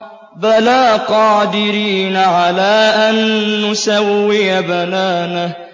بَلَىٰ قَادِرِينَ عَلَىٰ أَن نُّسَوِّيَ بَنَانَهُ